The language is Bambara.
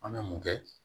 An bɛ mun kɛ